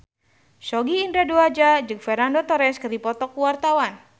Sogi Indra Duaja jeung Fernando Torres keur dipoto ku wartawan